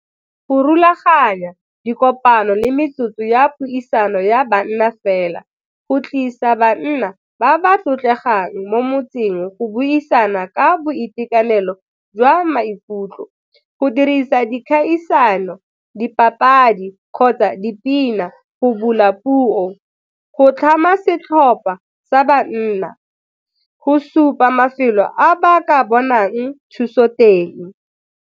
Go rulaganya dikopano le metsotso ya puisano ya banna fela, go tlisa banna ba ba tlotlegang mo motseng go buisana ka boitekanelo jwa maikutlo, go dirisa dikgaisano, dipapadi kgotsa dipina go bula puo, go tlhama setlhopha sa banna, go supa mafelo a ba ka bonang thuso teng.